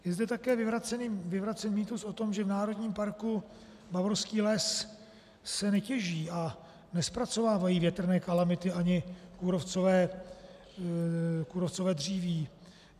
Je zde také vyvracen mýtus o tom, že v Národním parku Bavorský les se netěží a nezpracovávají větrné kalamity ani kůrovcové dříví.